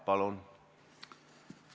Palun!